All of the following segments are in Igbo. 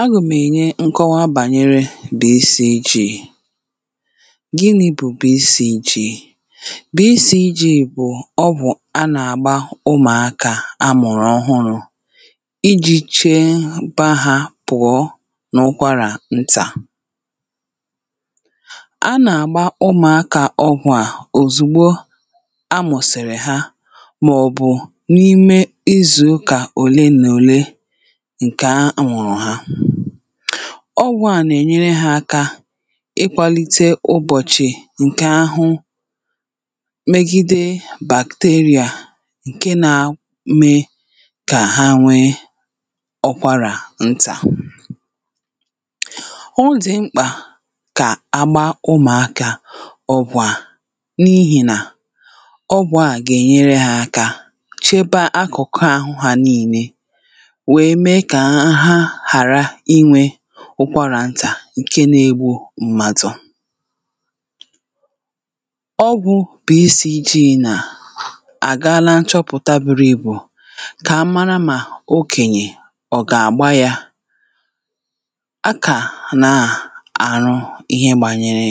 agàm enye nkọwa bànyere BCG gịnị̇ bụ̀ bụ̀ BCG.BCG bụ̀ ọgwụ̀ anà àgba ụmụ̀akà amụ̀rụ̀ ọhụrụ̇ iji̇ chee baa hȧ pụ̀ọ n’ụkwarà ntà[paues]anà àgba ụmụ̀akà ọgwụ̀ a òzùgbo amụ̀sị̀rị̀ ha màọ̀bụ̀ n’ime izu kà òle na òle nke amuru ha.ọgwụ̀ a nà-ènyere ha aka ịkwalite ụbọ̀chị̀ ǹke ahụ [paues] megide bacteria ǹke na um eme kà ha nwe ukwarà ntà.ọdị̀ mkpà kà agba ụmụ̀aka ọgwụ̀ a n’ihìnà ọgwụ̀ a gà-ènyere ha aka chebe akụkụ ahụ ha niine nwere mee ka ha ha ghara inwe ụkwarà ntà nke na-egbu mmadụ̇ ọgwụ̇ BCG na agaala nchọpụ̀ta bụrụ ibù kà a mara mà okènyè ọ̀ gà-àgba yȧ. a kà na um àrụ ihe gbànyere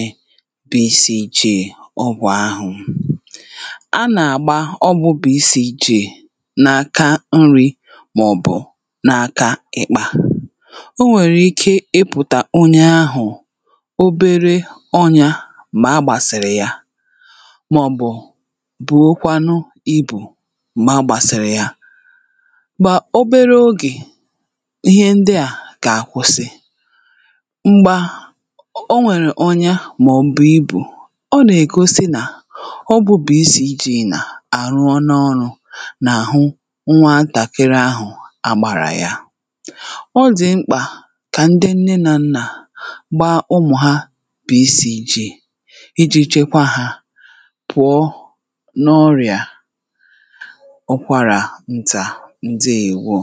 BCG ọgwụ̀ ahụ̀ a nà-àgba ọgwụ̇ bụ̀ isi̇ jị̇ n’aka nri màọbụ̀ n’aka ịkpȧ.o nwèrè ike ịpụ̀tà onye ahụ̀ obere ọnyȧ m̀gbè a gbàsìrì ya màọ̀bụ̀ bùokwanụ ibù mgbàsìrì ya ma obere ogè ihe ndị à kà àkwụsị m̀gbe a o nwèrè onye màọ̀bụ̀ ibù ọ nà-ègosi nà ọgwụ BCG nà àrụọ na ọrụ̇ nà àhụ nwa ntàkịrị ahụ̀ àgbàràya odi mkpa kà ndị nne nà nnà gbaa ụmụ̀ ha BCG iji chekwa hȧ pụ̀ọ n’ọrịà ukwarà ntà ndeewo